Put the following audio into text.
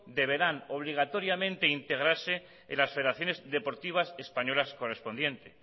deberán obligatoriamente integrarse en las federaciones deportivas españolas correspondientes